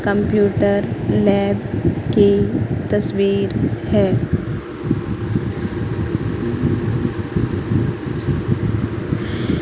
Computer lab की तस्वीर है।